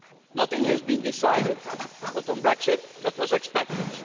Nothing has been decided not on Brexit, that was expected